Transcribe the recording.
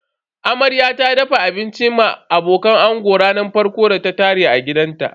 Amarya ta dafa abincin ma abokan ango ranar farkon da ta tare a gidanta.